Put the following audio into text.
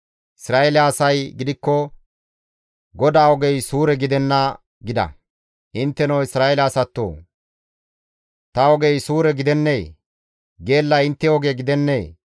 Isra7eele asay gidikko, ‹GODAA ogey suure gidenna› gida. Intteno Isra7eele asatoo! Ta ogey suure gidennee? Geellay intte oge gidennee?